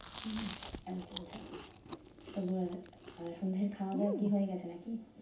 হুম এই চলছে। তোমার আহ সন্ধ্যের খাওয়া দাওয়া কি হয়ে গেছে নাকি?